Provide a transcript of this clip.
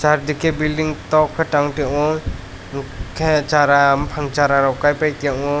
chardike belding tok ke tang tango hingke sara bopang sara rok kaipa tango.